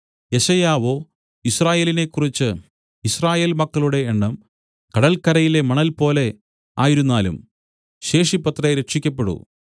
യെശയ്യാവോ യിസ്രായേലിനെക്കുറിച്ച് യിസ്രായേൽ മക്കളുടെ എണ്ണം കടൽക്കരയിലെ മണൽപോലെ ആയിരുന്നാലും ശേഷിപ്പത്രേ രക്ഷിയ്ക്കപ്പെടൂ